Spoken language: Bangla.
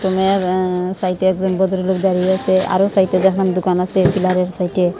আঃ সাইটে একজন ভদ্র লোক দাঁড়িয়ে আছে আরও সাইটে দেখেন দুকান আছে পিলারের সাইটে ।